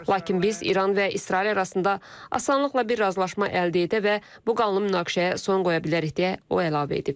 Lakin biz İran və İsrail arasında asanlıqla bir razılaşma əldə edə və bu qanlı münaqişəyə son qoya bilərik deyə o əlavə edib.